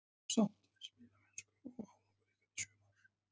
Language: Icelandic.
Ertu sáttur við spilamennsku og árangur ykkar í sumar?